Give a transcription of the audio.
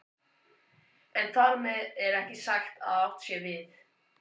En þar með er ekki sagt að átt sé við